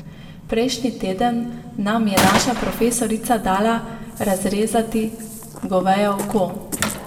Prejšnji teden nam je naša profesorica dala razrezati goveje oko.